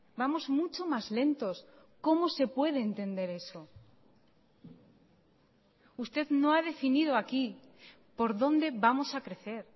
vamos mucho más lentos cómo se puede entender eso usted no ha definido aquí por dónde vamos a crecer